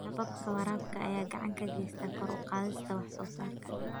Hababka waraabka ayaa gacan ka geysta kor u qaadista wax soo saarka.